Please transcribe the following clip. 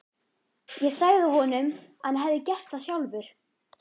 Ég sagði honum að hann hefði gert það sjálfur.